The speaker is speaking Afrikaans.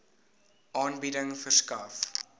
aanbieding verskaf